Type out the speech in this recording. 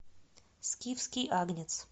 скифский агнец